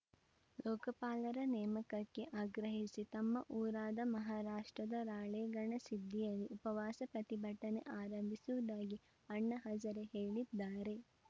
ಲೋಕಪಾಲರ ನೇಮಕಕ್ಕೆ ಆಗ್ರಹಿಸಿ ತಮ್ಮ ಊರಾದ ಮಹಾರಾಷ್ಟ್ರದ ರಾಳೇಗಣ ಸಿದ್ಧಿಯಲ್ಲಿ ಉಪವಾಸ ಪ್ರತಿಭಟನೆ ಆರಂಭಿಸುವುದಾಗಿ ಅಣ್ಣಾ ಹಜಾರೆ ಹೇಳಿದ್ದಾರೆ